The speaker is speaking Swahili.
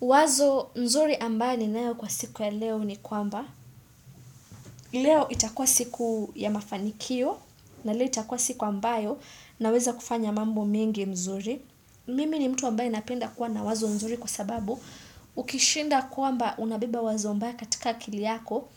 Wazo mzuri ambayo ni naeo kwa siku ya leo ni kwamba. Leo itakua siku ya mafanikio na leo itakua siku ambayo naweza kufanya mambo mingi mzuri. Mimi ni mtu ambayo inapenda kwa na wazo mzuri kwa sababu ukishinda kwamba unabiba wazo ambayo katika kili yako,